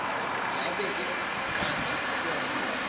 yabe ikati yona